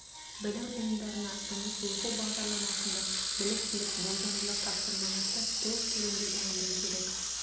білім ұйымдарына жұмыс оқу бағдарламасында біліктіліктік болжамдық тапсырмаларды тест түрінде дайындау керек